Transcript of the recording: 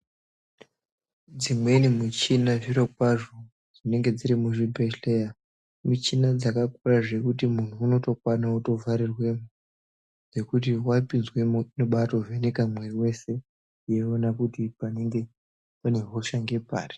Dzimweni michina zviro kwazvo dzinenge dziri muzvi bhedhleya michina dzaka kura zvekuti muntu unotokwana ku vharirwemo ngekuti wapinzweno inotobai vheneka mwiri wese yeiona kuti panenge pane hosha ngepari.